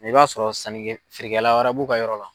i b'a sɔrɔ sannikɛ feerekɛla wɛrɛ b'u ka yɔrɔ la.